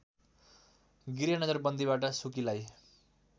गृह नजरबन्दीबाट सुकीलाई